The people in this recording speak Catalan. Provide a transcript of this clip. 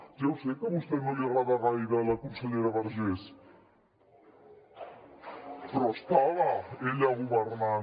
ja ho sé que a vostè no li agrada gaire la consellera vergés però estava ella governant